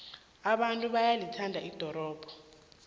abantu bayalithanda ldorobho